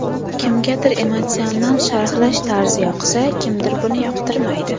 Kimgadir emotsional sharhlash tarzi yoqsa, kimdir buni yoqtirmaydi.